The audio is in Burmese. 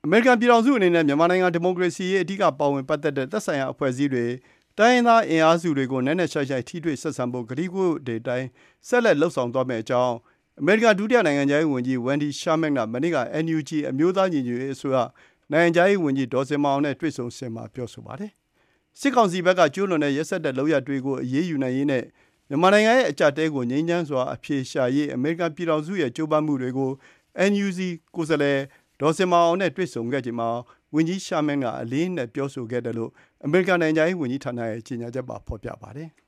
မေရိကန်ပြည်ထောင်စုအနေနဲ့ မြန်မာနိုင်ငံ ဒီမိုကရေစီရေး အဓိကပါဝင်ပတ်သက်တဲ့ သက်ဆိုင်ရာ အဖွဲ့အစည်းတွေ၊ တိုင်းရင်းသား အင်အားစုတွေကို နက်နက်ရှိုင်းရှိုင်း ထိတွေ့ဆက်ဆံဖို့ ကတိကဝတ်တွေအတိုင်း ဆက်လက် လုပ်ဆောင်သွားမယ့်အကြောင်း အမေရိကန် ဒုတိယ နိုင်ငံခြားရေးဝန်ကြီး Wendy Sherman က မနေ့က NUG အမျိုးသား ညီညွတ်ရေးအစိုးရ နိုင်ငံခြားရေးဝန်ကြီး ဒေါ်ဇင်မာအောင်နဲ့ ဖေဖော်ဝါရီ ၁၄ ရက်၊ အင်္ဂါနေ့က တွေ့ဆုံစဉ်မှာ ပြောဆိုပါတယ်။ စစ်ကောင်စီဘက်က ကျုးလွန်တဲ့ ရက်စက်တဲ့ လုပ်ရပ်တွေကို အရေးယူနိုင်ရေးနဲ့ မြန်မာနိုင်ငံရဲ့ အကျပ်အတည်းကို ငြိမ်းချမ်းစွာ အဖြေရှာရေး အမေရိကန်ပြည်ထောင်စုရဲ့ ကြိုးပမ်းမှုတွေကို NUG ကိုယ်စားလှယ် ဒေါ်ဇင်မာအောင်နဲ့ တွေ့ဆုံခဲ့ချိန်မှာ ဝန်ကြီး Sherman က အလေးအနက် ပြောဆိုခဲ့တယ်လို့ အမေရိကန် နိုင်ငံခြားရေးဝန်ကြီးဌာနရဲ့ ကြေညာချက်မှာ ဖေါ်ပြပါတယ်။